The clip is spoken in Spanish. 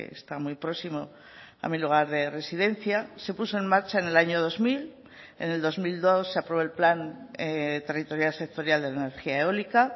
está muy próximo a mi lugar de residencia se puso en marcha en el año dos mil en el dos mil dos se aprobó el plan territorial sectorial de energía eólica